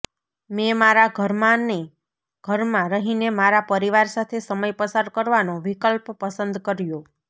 મેં મારા ઘરમાંને ઘરમાં રહીને મારા પરિવાર સાથે સમય પસાર કરવાનો વિકલ્પ પસંદ કર્યો